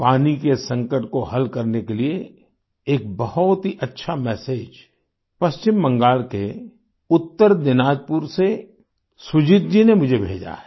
पानी के संकट को हल करने के लिये एक बहुत ही अच्छा मेसेज पश्चिम बंगाल के उत्तर दीनाजपुर से सुजीत जी ने मुझे भेजा है